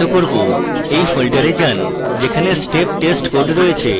সেই folder যান যেখানে step test code রয়েছে